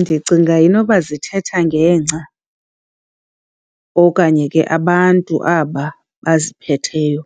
Ndicinga inoba zithetha ngengca okanye ke abantu aba baziphetheyo,